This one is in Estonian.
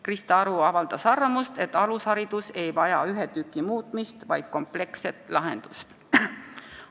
Krista Aru avaldas arvamust, et alusharidus ei vaja ühe osa muutmist, vaid kompleksset lahendust.